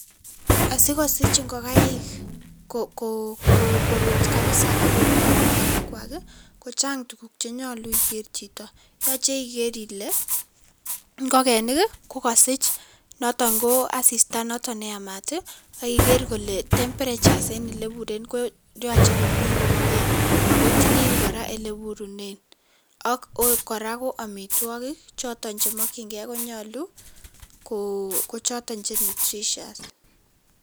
Asikosich ngokaik korut kapsa ako kolok mayainik kwak ko chang tuguuk chenyolu igeer chito, yochei ikeer ile ngokenik kokasich noton ko asista noto neyamaat, aki igeer kole temperatures eng ole ipuren koyache komi komnyee ako tilil kora ole ipurenen. Ak kora amitwokik chemakchinkei konyolu ko choton che nutritious.